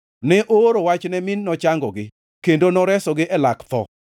Ne ooro wachne mi nochangogi kendo noresogi e lak tho.